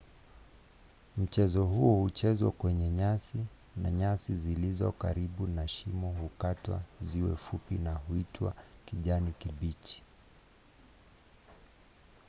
mchezo huo huchezwa kwenye nyasi na nyasi zilizo karibu na shimo hukatwa ziwe fupi na huitwa kijani kibichi